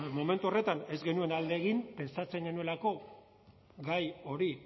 momentu horretan ez genuen alde egin pentsatzen genuelako gai hori